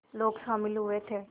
लोग शामिल हुए थे